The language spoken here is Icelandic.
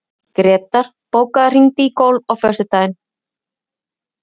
Grétar, bókaðu hring í golf á föstudaginn.